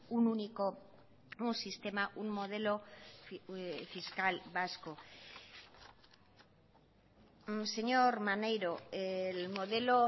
un único un sistema un modelo fiscal vasco señor maneiro el modelo